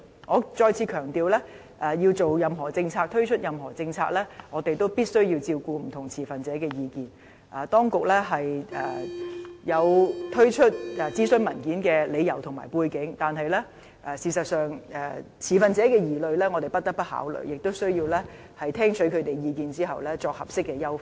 我再次強調，在制訂及推出任何政策時，我們也必須照顧不同持份者的意見，當局有推出諮詢文件的理由和背景，但事實上，持份者的疑慮我們亦不得不考慮，亦需要在聽取他們的意見後再作合適優化。